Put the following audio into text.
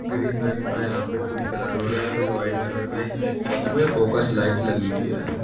Green रंग का यहां पे कुछ कलर हो रहा है फिर व्हाइट कलर का इसमें फोकस लाइट लगी हुई है।